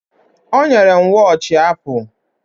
O nyere m wọochi Apụ